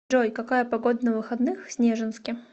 джой какая погода на выходных в снежинске